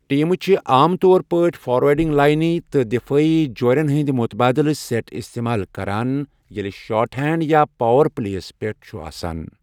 ٹیمہٕ چھِ عام طور پٲٹھۍ فارورڈنگ لٲنہ تہٕ دِفٲعی جوٗرٮ۪ن ہنٛدۍ مُتبادلہٕ سٮ۪ٹ استعمال کران ییٚلہِ شارٹ ہینڈ یا پاور پلے یس پٮ۪ٹھ چھُ آسان۔